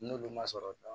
N'olu ma sɔrɔ